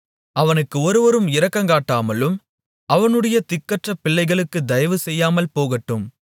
அவனுக்கு ஒருவரும் இரக்கங்காட்டாமலும் அவனுடைய திக்கற்ற பிள்ளைகளுக்குத் தயவு செய்யாமல் போகட்டும்